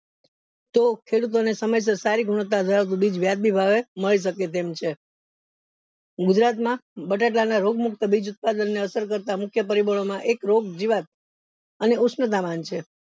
તો તો ખેડૂતો ને સમયસર સારી ગુણવત્તા ધરાવતું બીજ વ્યાજબી ભાવ એ મળે શકે તેમ છે ગુજરાત માં બટેટા ના રોગ મુક્ત બીજ ઉત્પાદન ને અસર કરતા મુખ્ય પરિબળો માં એક રોગ જીવત અને ઉશ્ધામાન છે